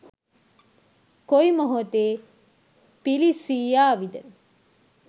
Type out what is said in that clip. කොයි මොහොතේ පිළිස්සී යාවිද